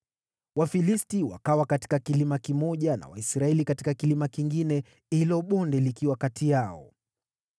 Wafilisti wakawa katika kilima kimoja na Waisraeli katika kilima kingine, hilo bonde likiwa kati yao.